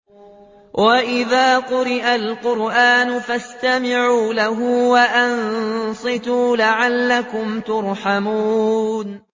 وَإِذَا قُرِئَ الْقُرْآنُ فَاسْتَمِعُوا لَهُ وَأَنصِتُوا لَعَلَّكُمْ تُرْحَمُونَ